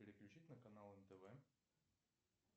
переключить на канал нтв